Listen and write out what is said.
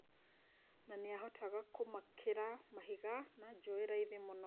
Na nĩahotaga kũmakĩra mahiga na njũĩ raithi mũno.